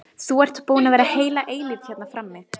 Þú ert búinn að vera heila eilífð hérna frammi.